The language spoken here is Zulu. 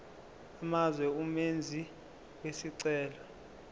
amazwe umenzi wesicelo